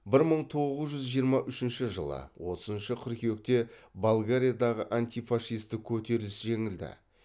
бір мың тоғыз жүз жиырма үшінші жылы отызыншы қыркүйекте болгариядағы антифашистік көтеріліс жеңілді